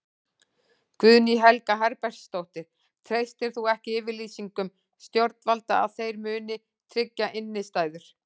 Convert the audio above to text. Guðný Helga Herbertsdóttir: Treystir þú ekki yfirlýsingum stjórnvalda að þeir muni tryggja innistæður?